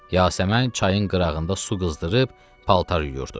Yasəmən çayın qırağında su qızdırıb paltar yuyurdu.